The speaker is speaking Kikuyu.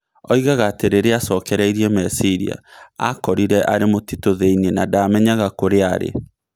Oigaga atĩ rĩrĩa aacokereire meciria, aakorire arĩ mũtitũ thĩinĩ an ndamenyare kũrĩa aarĩ.